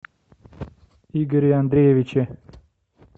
игоре андреевиче